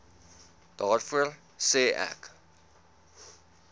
daarvoor sê ek